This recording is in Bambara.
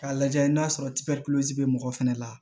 K'a lajɛ n'a sɔrɔ bɛ mɔgɔ fɛnɛ la